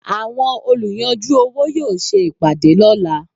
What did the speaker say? Àwọn olùyanjú owó yóò ṣe ìpàdé lọ́la.